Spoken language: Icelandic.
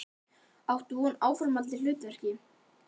Áttu von á áframhaldandi hlutverki?